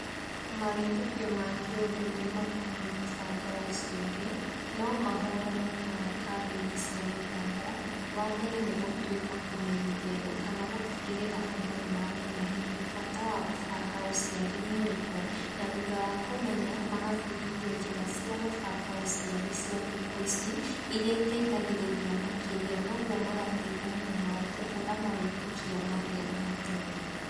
Mawĩtĩkio ma kĩũndũire makoniĩ gũbanga ũciari, nomahũranwo namo kambĩinĩ cia gĩthomo, wambere nĩgũtuĩka kũmenyithia andũ kana gũtigarĩra andũ nĩmamenya hihi bata wa gũbanga ũciari nĩũrĩkũ na thutha wa kũmenya, magabundithio njĩra cia gũbanga ũciari cia thikũ ici, iria iteithagĩrĩria makĩrĩa, na ũguo magateithanio nao kũhũra mawĩtĩkia marĩa ma tene.